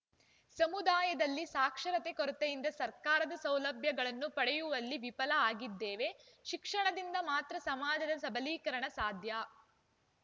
ಸಮುದಾಯದಲ್ಲಿ ಸಾಕ್ಷರತೆ ಕೊರತೆಯಿಂದ ಸರ್ಕಾರದ ಸೌಲಭ್ಯಗಳನ್ನು ಪಡೆಯುವಲ್ಲಿ ವಿಫಲ ಆಗಿದ್ದೇವೆ ಶಿಕ್ಷಣದಿಂದ ಮಾತ್ರ ಸಮಾಜದ ಸಬಲೀಕರಣ ಸಾಧ್ಯ